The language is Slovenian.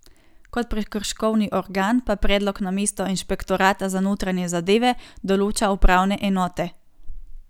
Kot prekrškovni organ pa predlog namesto inšpektorata za notranje zadeve določa upravne enote.